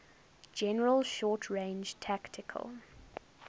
general short range tactical